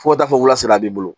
Fo ka taa fɔ waa saba b'i bolo